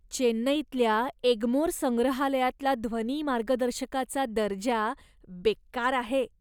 चेन्नईतल्या एग्मोर संग्रहालयातला ध्वनी मार्गदर्शकाचा दर्जा बेकार आहे.